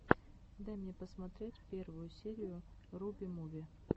дай мне посмотреть первую серию руби муви